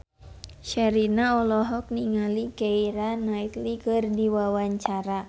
Sherina olohok ningali Keira Knightley keur diwawancara